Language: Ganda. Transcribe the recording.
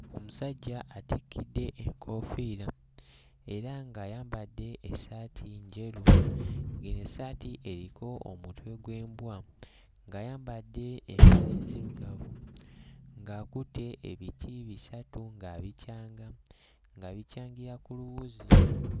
Omusajja atikidde enkoofiira era ng'ayambadde essaati njeru ng'eyo essaati eriko omutwe gw'embwa ng'ayambadde empale nzirugavu ng'akutte ebiti bisatu ng'abikyanga, ng'abikyangira ku luwuzi.